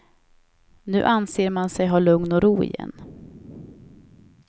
Nu anser man sig ha lugn och ro igen.